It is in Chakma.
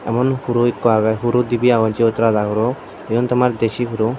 emon huro ekku agey huro dibi agon sigun rada huro igun tomar desi huro.